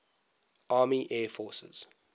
army air forces